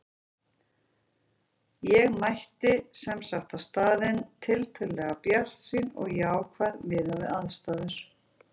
Ég mætti sem sagt á staðinn tiltölulega bjartsýn og jákvæð miðað við aðstæður.